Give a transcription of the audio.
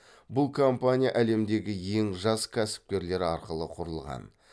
бұл компания әлемдегі ең жас кәсіпкерлер арқылы құрылған